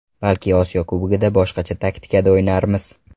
Balki Osiyo Kubogida boshqacha taktikada o‘ynarmiz.